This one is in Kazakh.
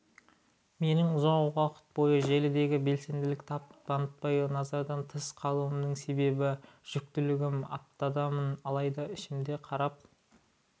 менің ұзақ уақыт бойы желіде белсенділік танытпай назардан тыс қалуымның себебі жүктілігім аптадамын алайда ішіме қарап